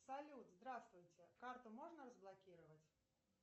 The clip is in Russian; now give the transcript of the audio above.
салют здравствуйте карту можно разблокировать